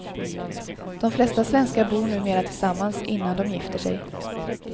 De flesta svenskar bor numera tillsammans innan de gifter sig.